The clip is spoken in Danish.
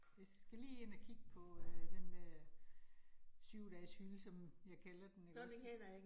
Jeg skal lige hen og kigge på øh den dér 7 dages hylde, som jeg kalder den ikke også